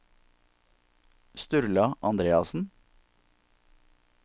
Sturla Andreassen